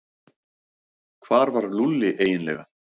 Hvar var Lúlli eiginlega?